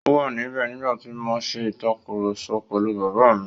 Ó wà níbẹ̀ nígbà tí mo ń ṣe ìtàkurọ̀sọ pẹ̀lú Bàbá mi.